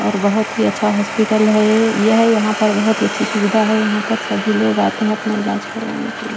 और बहोत ही अच्छा हॉस्पिटल है ये यह यहां पर बहोत ही अच्छी सुविधा है यहां पर सभी लोग आते हैं अपना इलाज करवाने के लिए।